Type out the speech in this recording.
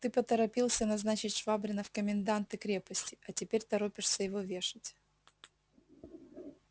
ты поторопился назначить швабрина в коменданты крепости а теперь торопишься его вешать